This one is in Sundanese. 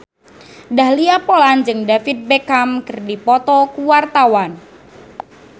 Dahlia Poland jeung David Beckham keur dipoto ku wartawan